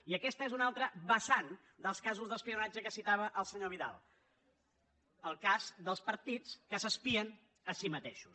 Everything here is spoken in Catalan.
i aquesta és una altra vessant dels casos d’espionatge que citava el senyor vidal el cas dels partits que s’espien a si mateixos